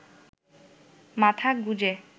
মাথা গুঁজে